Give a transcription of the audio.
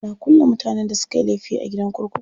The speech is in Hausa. Ana kulle mutanen da sukayi laifi a gidan kurkuku.